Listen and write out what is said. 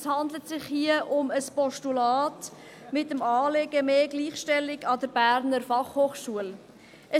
Es handelt sich hier um ein Postulat mit dem Anliegen, mehr Gleichstellung an der Berner Fachhochschule (BFH).